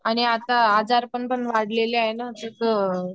आणि आता आजारपण पण वाढले आहेत न त्या मुळे